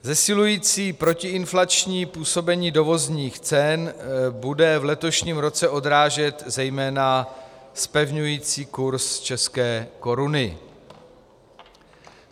Zesilující protiinflační působení dovozních cen bude v letošním roce odrážet zejména zpevňující kurz české koruny.